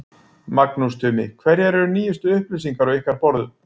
Magnús Tumi, hverjar eru nýjustu upplýsingar á ykkar borðum?